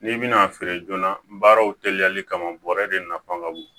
N'i bɛna a feere joona baaraw teliyali kama bɔrɛ de nafa ka bon